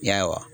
Ya